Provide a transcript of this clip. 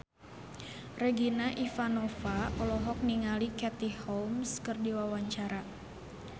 Regina Ivanova olohok ningali Katie Holmes keur diwawancara